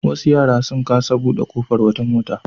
Wasu yara sun kasa buɗe ƙofar wata mota.